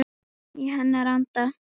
Í hennar anda.